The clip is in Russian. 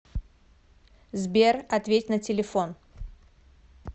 сбер ответь на телефон